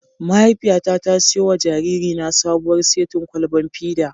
Mahaifiyata ta siyo wa jaririna sabuwar setin kwalban fida.